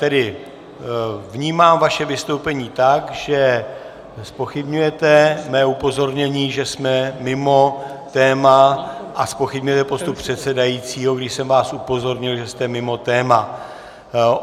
Tedy vnímám vaše vystoupení tak, že zpochybňujete mé upozornění, že jsme mimo téma, a zpochybňujete postup předsedajícího, když jsem vás upozornil, že jste mimo téma.